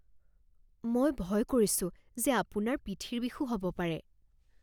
মই ভয় কৰিছো যে আপোনাৰ পিঠিৰ বিষো হ'ব পাৰে।